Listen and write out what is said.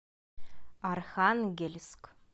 архангельск